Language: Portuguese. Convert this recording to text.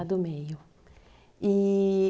A do meio. i-i